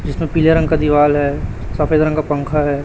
जिसमें पीले रंग का दीवाल हैं सफेद रंग का पंखा हैं।